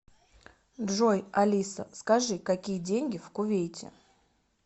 джой алиса скажи какие деньги в кувейте